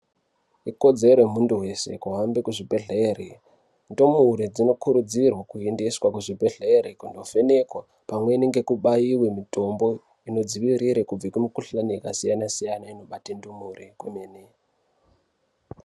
Ikodzero yemuntu wese kuhambe kuzvibhedhlere ndimure dzinokurudzirwe kuendeswa kuzvibhedhlere kundovhenekwa pamweni ngekubaiwe mitombo inodzivirire kubve kumikuhlane yakasiyane siyane inobate ndimure kwemene.